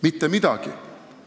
Mitte midagi.